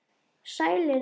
Sælir nú.